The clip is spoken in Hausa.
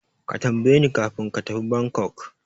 Ka tambayeni kafin ka tafi Bangkok.